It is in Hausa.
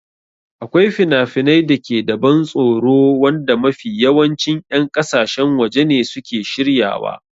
Akwai finafinai da ke da ban tsoro wanda mafi yawancin 'yan ƙasashen waje ne suke shiryawa.